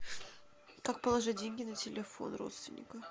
как положить деньги на телефон родственника